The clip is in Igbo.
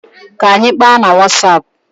K'anyi kpaa na Wasap.